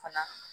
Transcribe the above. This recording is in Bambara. Fana